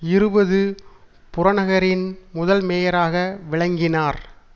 இருபது புறநகரின் முதல் மேயராக விளங்கினார்